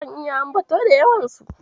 Zan iya ambato da yawansu.